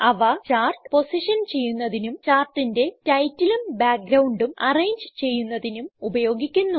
അവ chart position ചെയ്യുന്നതിനും ചാർട്ടിന്റെ റ്റൈറ്റിലും ബ്യാക്ക്ഗ്രൌണ്ടും അറേഞ്ച് ചെയ്യുന്നതിനും ഉപയോഗിക്കുന്നു